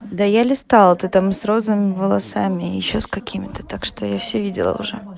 да я листала ты там с розовыми волосами ещё с какими-то так что я все видела уже